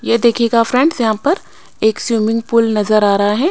ये देखिएगा फ्रेंड्स यहां पर एक स्विमिंग पूल नजर आ रहा है।